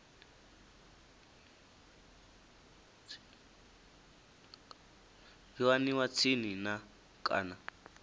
yo aniwa tsini na kana